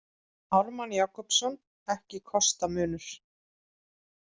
Ármann Jakobsson, Ekki kosta munur.